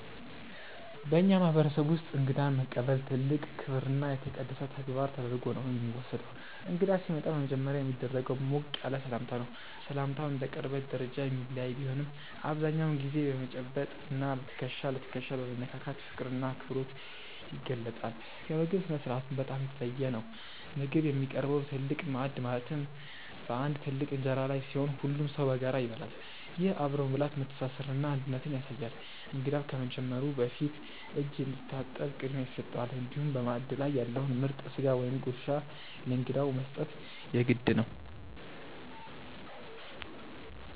በእኛ ማህበረሰብ ውስጥ እንግዳን መቀበል ትልቅ ክብርና የተቀደሰ ተግባር ተደርጎ ነው የሚወሰደው። እንግዳ ሲመጣ በመጀመሪያ የሚደረገው ሞቅ ያለ ሰላምታ ነው። ሰላምታው እንደ ቅርበት ደረጃ የሚለያይ ቢሆንም፣ አብዛኛውን ጊዜ እጅ በመጨበጥ እና ትከሻ ለትከሻ በመነካካት ፍቅርና አክብሮት ይገለጻል። የምግብ ስነ-ስርዓቱም በጣም የተለየ ነው። ምግብ የሚቀርበው በትልቅ ማዕድ ማለትም በአንድ ትልቅ እንጀራ ላይ ሲሆን፣ ሁሉም ሰው በጋራ ይበላል። ይህ አብሮ መብላት መተሳሰርንና አንድነትን ያሳያል። እንግዳው ከመጀመሩ በፊት እጅ እንዲታጠብ ቅድሚያ ይሰጠዋል፤ እንዲሁም በማዕድ ላይ ያለውን ምርጥ ስጋ ወይም ጉርሻ ለእንግዳው መስጠት የግድ ነው።